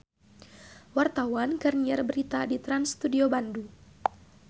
Wartawan keur nyiar berita di Trans Studio Bandung